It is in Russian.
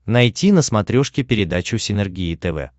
найти на смотрешке передачу синергия тв